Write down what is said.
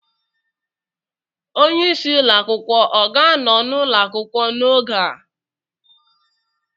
Onye isi ụlọ akwụkwọ ọ ga-anọ n'ụlọ akwụkwọ n'oge a?